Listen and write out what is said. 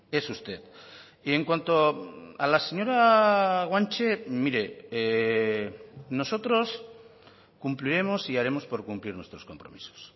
es usted y en cuanto a la señora guanche mire nosotros cumpliremos y haremos por cumplir nuestros compromisos